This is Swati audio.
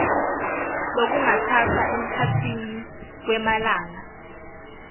lokungatsatsa emkhatsini wemalanga